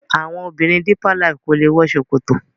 àwọn obìrin deeper life kọ lẹ wò ṣòkòtò